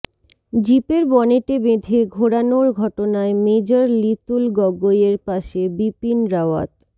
জিপের বনেটে বেঁধে ঘোরানোর ঘটনায় মেজর লিতুল গগৈয়ের পাশে বিপিন রাওয়াত